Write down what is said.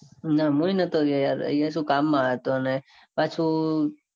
ના હું એ નતો ગયો યાર અહીંયા સુ કામ મોં હતોન. એ પાછું